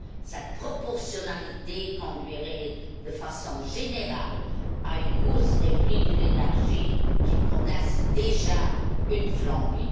Cette proportionnalité conduirait, de façon générale, à une hausse des prix de l'énergie qui connaissent déjà une flambée.